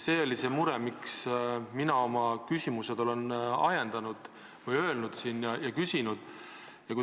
See on see mure, mille tõttu mina oma küsimused olen küsinud.